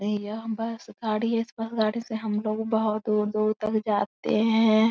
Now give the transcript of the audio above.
यह बस गाड़ी है। इस बस गाड़ी से हम लोग बोहोत दूर-दूर तक जाते हैं।